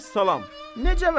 Necə vəssalam?